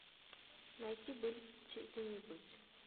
найти быть или не быть